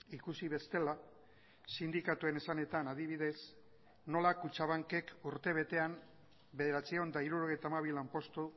ikusi bestela sindikatuen esanetan adibidez nola kutxabankek urtebetean bederatziehun eta hirurogeita hamabi lanpostu